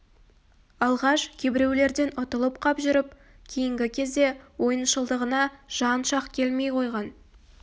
алғаш кейбіреулерден ұтылып қап жүріп кейінгі кезде ойыншылдығына жан шақ келмей қойған